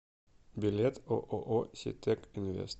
билет ооо ситек инвест